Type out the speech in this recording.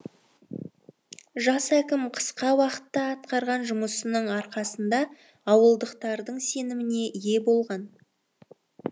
жас әкім қысқа уақытта атқарған жұмысының арқасында ауылдықтардың сеніміне ие болған